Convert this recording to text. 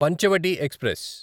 Panchavati express